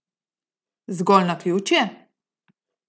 Zgolj naključje?